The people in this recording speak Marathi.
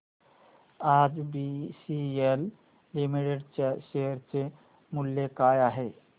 आज बीसीएल लिमिटेड च्या शेअर चे मूल्य काय आहे